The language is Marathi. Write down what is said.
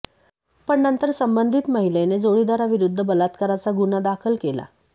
पण नंतर संबंधित महिलेने जोडीदाराविरुद्ध बलात्काराचा गुन्हा दाखल केला